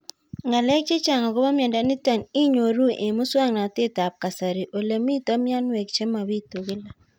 Ng'alek chechang' akopo miondo nitok inyoru eng' muswog'natet ab kasari ole mito mianwek che mapitu kila